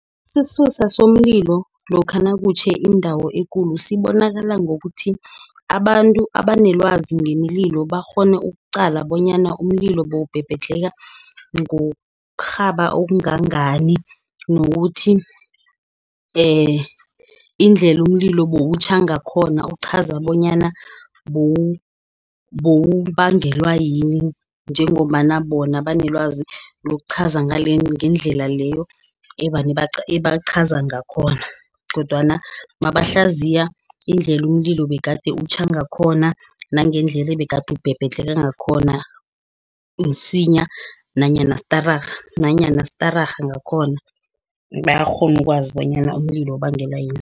Isisusa somlilo lokha nakutjhe indawo ekulu sibonakala ngokuthi, abantu abanelwazi ngemililo bakghone ukuqala bonyana umlilo bewubhebhedlheka ngokurhaba okungangani. Nokuthi indlela umlilo buwutjha ngakhona uchaza bonyana bowubangelwa yini, njengobana bona banelwazi lokuchaza ngalendlela leyo ebaqhaza ngakhona, kodwana nabahlaziya indlela umlilo begade utjha ngakhona, nangendlela ebegade ubhebhetheka ngakhona msinya, nanyana stararha ngakhona, bayakghona ukwazi bonyana umlilo ubangelwa yini.